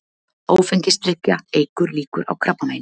Áfengisdrykkja eykur líkur á krabbameini